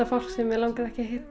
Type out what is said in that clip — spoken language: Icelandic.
fólk sem mig langaði ekki að hitta